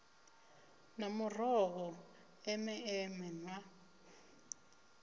na muroho eme eme nṱhwa